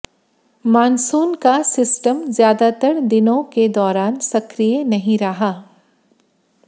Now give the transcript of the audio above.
monsoon का system ज्यादातर दिनों के दौरान सक्रिय नहीं रहा